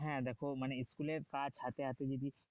হ্যাঁ দেখো মানে school এর কাজ হাতে আসে যদি